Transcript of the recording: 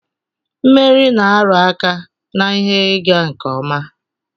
Mmeri na-aru aka na ihe ịga nke ọma